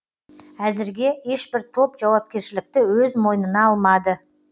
әзірге ешбір топ жауапкершілікті өз мойнына алмады